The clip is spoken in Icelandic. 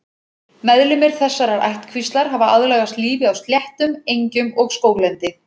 Meðlimir þessarar ættkvíslar hafa aðlagast lífi á sléttum, engjum og skóglendi.